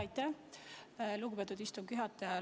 Aitäh, lugupeetud istungi juhataja!